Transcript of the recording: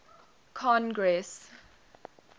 congress